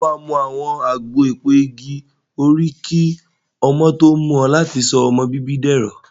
Ṣé o máa mu àgbo èpo igi òrí kí ọmọ tó mú ọ láti sọ ọmọ bíbí dẹ̀rọ̀.